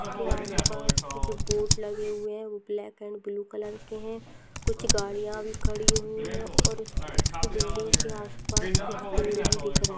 इसके आस-पास जो बोर्ड लगे हुए है वो ब्लॅक अँड ब्लू कलर के है। कुछ गाडिया भी खडी हुई है और इस-इस बिल्डिंग के आस-पास कुछ पेड भी दिख रहे।